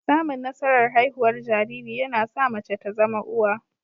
Samun nasarar haihuwar jariri, yana sa mace ta zama uwa